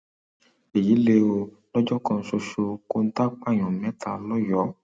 èyí lé o lọjọ kan ṣoṣo kọńtà pààyàn mẹta lọyọọ